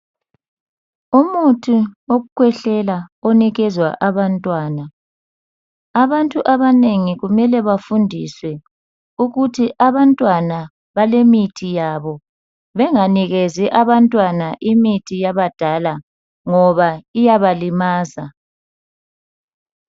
Umuthi wokukhwehlela onikezwa abantwana. Abantu abanengi kumele bafundiswe ukuthi abantwana balemithi yabo benganikezi abantwana imithi yabadala ngoba iyabalimaza.